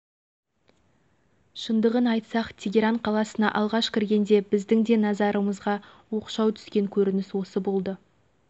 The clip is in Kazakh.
шығыс дәстүрі бойынша әйелдер мұнда басынан аяғынан дейін жамылғы бүркеніп жүретіні рас